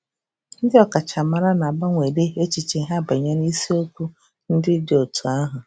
Ndị ọkachamara na-agbanwedị echiche ha banyere isiokwu ndị dị otú ahụ.